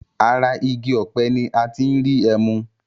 Ara igi ọ̀pẹ ní a tí n rí ẹmu.